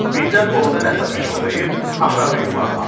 Birdən orda nəsə fışıldayıb aşağı yuvarlandı.